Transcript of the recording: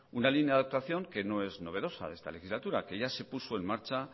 una línea de actuación que no es novedosa de esta legislatura que ya se puso en marcha